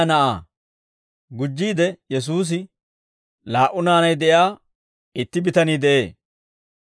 Gujjiide Yesuusi, «Laa"u naanay de'iyaa itti bitanii de'ee;